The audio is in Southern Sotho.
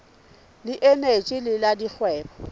le eneji le la dikgwebo